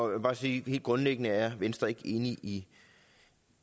vil bare sige at helt grundlæggende er venstre ikke enige i